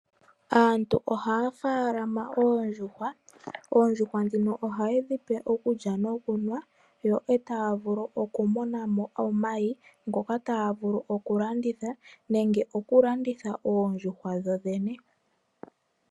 Aantu oha faalama oondjuhwa , oondjuhwa dhino ohaye dhipe okulya nokunwa, yo otavulu okumunamo omayi ngoka tavulu okulanditha nenge okulanditha oondjuhwa dhodhene